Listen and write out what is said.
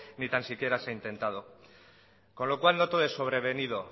ni tan siquiera se han intentado con lo cual no todo es sobrevenido